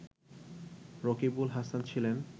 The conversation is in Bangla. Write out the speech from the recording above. রকিবুল হাসান ছিলেন